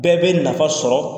Bɛɛ bɛ nafa sɔrɔ.